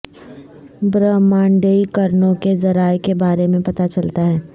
برہمانڈیی کرنوں کے ذرائع کے بارے میں پتہ چلتا ہے